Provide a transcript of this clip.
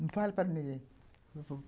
Não fala para ninguém.